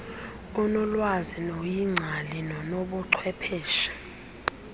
onolwazi noyingcali nonobuchwepheshe